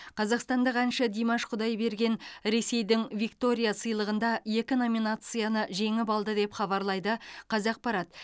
қазақстандық әнші димаш құдайберген ресейдің виктория сыйлығында екі номинацияны жеңіп алды деп хабарлайды қазақпарат